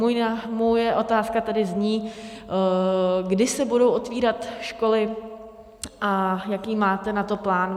Moje otázka tedy zní - kdy se budou otevírat školy a jaký máte na to plán.